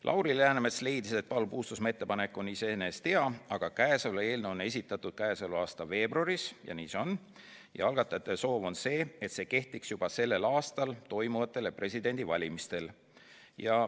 Lauri Läänemets leidis, et Paul Puustusmaa ettepanek on iseenesest hea, aga käesolev eelnõu on esitatud käesoleva aasta veebruaris – nii see tõesti on – ning algatajate soov on see, et nende ettepanek kehtiks juba sellel aastal toimuvatel presidendivalimistel.